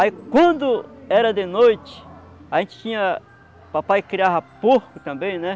Aí, quando era de noite, a gente tinha... papai criava porco também, né?